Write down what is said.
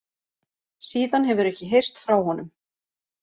Síðan hefur ekki heyrst frá honum